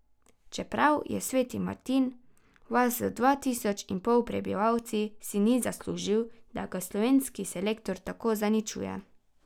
Čeprav je Sveti Martin vas z dva tisoč in pol prebivalci, si ni zaslužil, da ga slovenski selektor tako zaničuje.